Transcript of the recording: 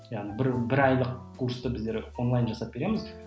яғни бір бір айлық курсты біздер онлайн жасап береміз